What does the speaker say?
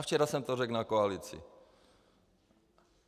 A včera jsem to řekl na koalici.